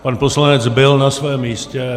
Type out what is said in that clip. Pan poslanec byl na svém místě.